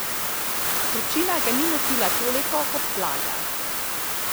Vročina ga ni motila toliko kot vlaga.